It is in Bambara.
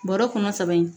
Bɔrɔ kɔnɔ saba in